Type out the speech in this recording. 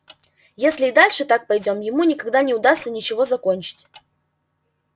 если и дальше так пойдём ему никогда не удастся ничего закончить